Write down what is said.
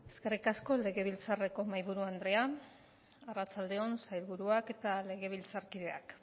eskerrik asko legebiltzarreko mahaiburu andrea arratsalde on sailburuak eta legebiltzarkideak